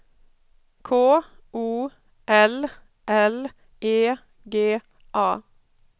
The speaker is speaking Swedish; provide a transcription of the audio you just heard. K O L L E G A